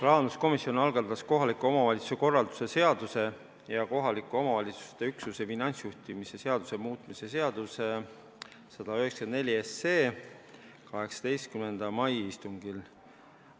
Rahanduskomisjon algatas kohaliku omavalitsuse korralduse seaduse ja kohaliku omavalitsuse üksuse finantsjuhtimise seaduse muutmise seaduse eelnõu oma 18. mai istungil.